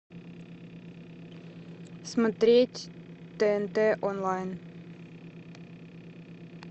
смотреть тнт онлайн